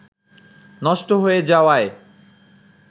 নষ্ট হয়ে যাওয়ায়